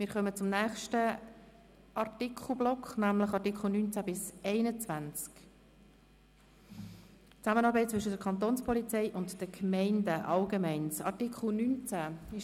Wir kommen zum nächsten Block, zu den Artikeln 19 bis 21. 4 Zusammenarbeit zwischen der Kantonspolizei und den Gemeinden 4.1 Allgemeines Art. 19 Angenommen